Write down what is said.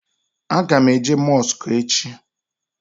A ga m eje mosku echi